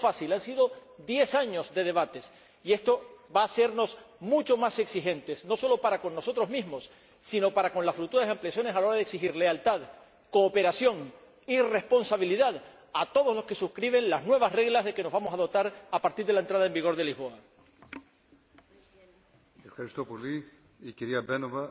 No ha sido fácil, han sido diez años de debates y esto va a hacernos mucho más exigentes, no solo para con nosotros mismos, sino para con las futuras ampliaciones a la hora de exigir lealtad, cooperación y responsabilidad a todos los que suscriban las nuevas reglas de que nos vamos a dotar a partir de la entrada en vigor del Tratado